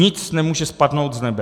Nic nemůže spadnout z nebe.